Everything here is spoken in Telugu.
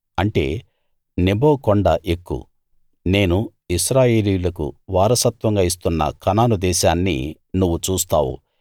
అంటే నెబో కొండ ఎక్కు నేను ఇశ్రాయేలీయులకు వారసత్వంగా ఇస్తున్న కనాను దేశాన్ని నువ్వు చూస్తావు